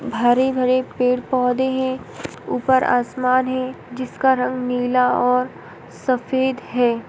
हरे-भरे पेड़ पौधे हैं। ऊपर आसमान है जिसका रंग नीला और सफ़ेद है।